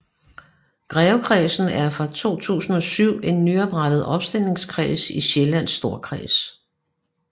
Grevekredsen er fra 2007 en nyoprettet opstillingskreds i Sjællands Storkreds